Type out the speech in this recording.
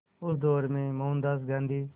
उस दौर में मोहनदास गांधी